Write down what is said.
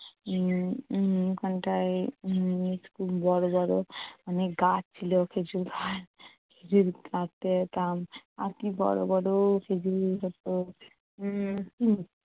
উম উম ওখানটায় উম খুব বড়ো বড়ো অনেক গাছ ছিল প্রচুর গাছ। আর কী বড়ো বড়ো খেজুর হতো! উম